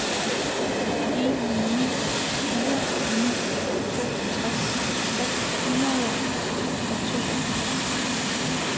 en ni fire ni toogtres seks hundrede og toogfirs